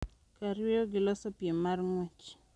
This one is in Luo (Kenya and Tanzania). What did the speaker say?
Kar yweyo gi loso piem mar ng'wech